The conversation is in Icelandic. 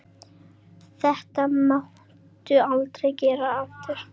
Þetta máttu aldrei gera aftur!